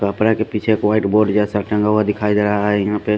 तो अपने के पीछे एक जैसा टंगा हुआ दिखाई दे रहा है यहाँ पे--